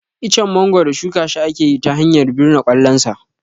Icen mangoro shuka shi akeyi ta hanyar birne kwallon sa